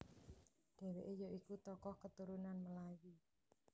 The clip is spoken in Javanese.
Dheweke ya iku tokoh keturunan Melayu